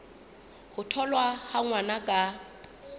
ho tholwa ha ngwana ka